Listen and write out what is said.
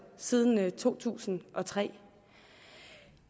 siden to tusind og tre